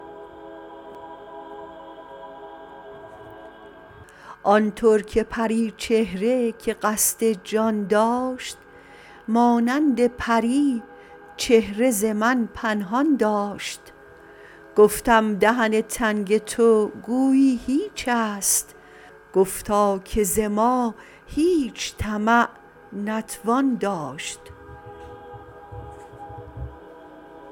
آن ترک پریچهره که قصد جان داشت مانند پری چهره زمن پنهان داشت گفتم دهن تنگ تو گویی هیچست گفتا که ز ما هیچ طمع نتوان داشت